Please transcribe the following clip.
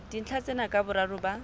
dintlha tsena ka boraro ba